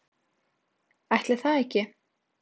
Ætli það ekki?